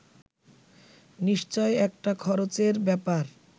নিশ্চয় একটা খরচের ব্যাপার